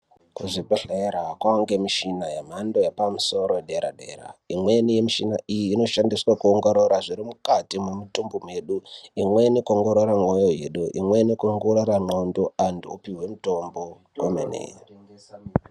Kuzvibhedhlera kwaa ngemishini yepamusoro dera dera , imweni yemishini iyi inoshandiswaa kuongorora zviri mukati mumitumbi mwedu, imweni kuongorora mwoyo yedu, imweni kuongorora ndxondo, omene